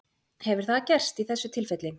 Hefur það gerst í þessu tilfelli?